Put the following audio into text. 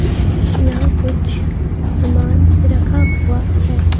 यहां कुछ सामान रखा हुआ है.